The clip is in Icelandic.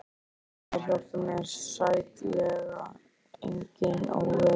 Hjálpi mér, hjálpi mér, sætlega enginn, ó vei.